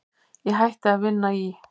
Ég hætti að vinna í